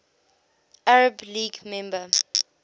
arab league member